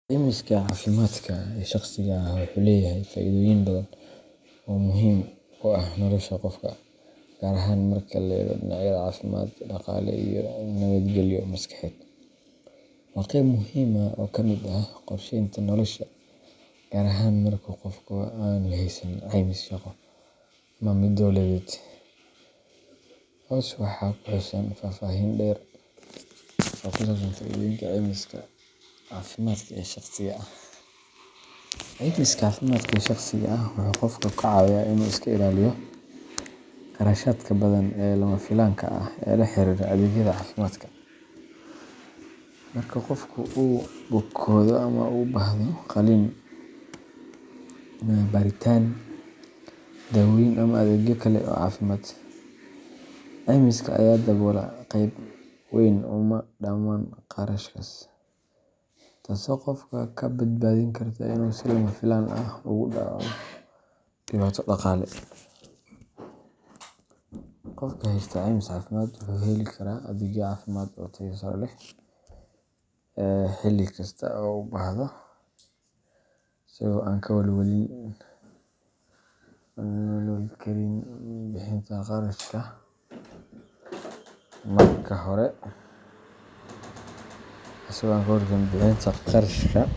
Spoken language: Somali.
Caymiska caafimaadka ee shakhsiga ah wuxuu leeyahay faa’iidooyin badan oo muhiim u ah nolosha qofka, gaar ahaan marka laga eego dhinacyada caafimaad, dhaqaale, iyo nabadgelyo maskaxeed. Waa qayb muhiim ah oo ka mid ah qorsheynta nolosha, gaar ahaan marka qofku aanu haysan caymis shaqo ama mid dowladeed. Hoos waxaa ku xusan faahfaahin dheer oo ku saabsan faa’iidooyinka caymiska caafimaadka ee shakhsiga ah:Caymiska caafimaadka ee shakhsiga ah wuxuu qofka ka caawiyaa in uu iska ilaaliyo kharashaadka badan ee lama filaanka ah ee la xiriira adeegyada caafimaadka. Marka qofku uu bukoodo ama uu u baahdo qalliin, baaritaan, daawooyin ama adeegyo kale oo caafimaad, caymiska ayaa daboola qayb weyn ama dhammaan kharashkaas, taasoo qofka ka badbaadin karta in uu si lama filaan ah ugu dhacdo dhibaato dhaqaale. Qofka haysta caymis caafimaad wuxuu heli karaa adeegyo caafimaad oo tayo sare leh xilli kasta oo uu u baahdo, isagoo aan ka walwalayn karin bixinta kharashka marka hore.